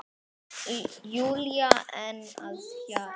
Júlía enn að hlæja.